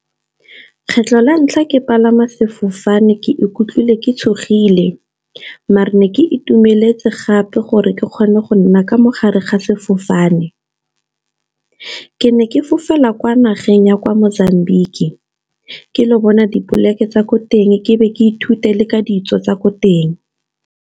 Kgetlho la ntlha ke palama sefofane ke ikutlwile ke tshogile. Mare ne ke itumeletse gape gore ke kgone go nna ka mogare ga sefofane. Ke ne ke fofela kwa nageng ya kwa Mozambique ke lo bona dipoleke tsa ko teng ke be ke ithute le ka ditso tsa ko teng.